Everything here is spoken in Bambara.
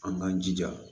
An k'an jija